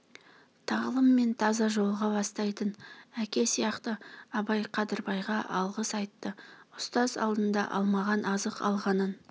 тағлым мен таза жолға бастайтын әке сияқты абай қадырбайға алғыс айтты ұстаз алдында алмаған азық алғанын